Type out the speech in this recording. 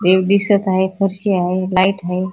देव दिसत आहे फरशी हाय लाईट हाय.